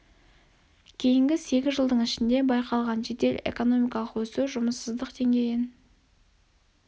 кейінгі сегіз жылдың ішінде байқалған жедел экономикалық өсу жұмыссыздық деңгейін